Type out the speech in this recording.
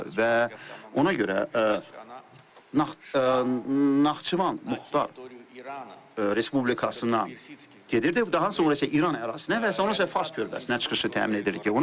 Və ona görə Naxçıvan Muxtar Respublikasına gedir, daha sonra isə İran ərazisinə, və sonra isə Fars körfəzinə çıxışı təmin edilir.